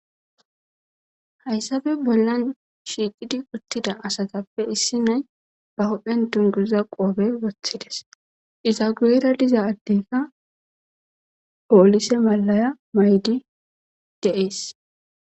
Hayssafe bollan shiiqidi uttida asatappe issi nay ba hodhphen dunguza qoobe woththides iza gurera diza addeyka oolise malaya maydi deees